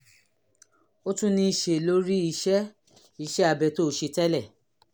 ó tún ní í ṣe lórí iṣẹ́ iṣẹ́ abẹ tó o ṣe tẹ́lẹ̀